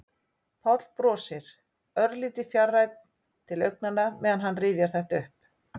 Páll brosir, örlítið fjarrænn til augnanna meðan hann rifjar þetta upp.